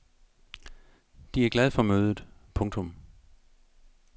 De er glad for mødet. punktum